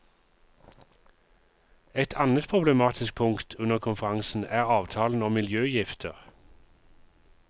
Et annet problematisk punkt under konferansen er avtalen om miljøgifter.